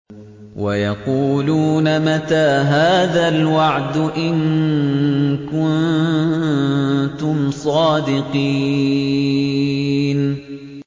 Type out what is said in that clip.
وَيَقُولُونَ مَتَىٰ هَٰذَا الْوَعْدُ إِن كُنتُمْ صَادِقِينَ